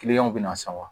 Kiliyanw bɛna san wa